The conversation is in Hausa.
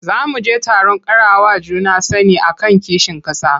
Za mu je taron ƙarawa juna sani a kan kishin ƙasa.